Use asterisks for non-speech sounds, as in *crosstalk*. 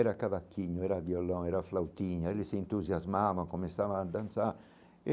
Era cavaquinho, era violão, era flautinha, eles se entusiasmavam, começavam a dançar. *unintelligible*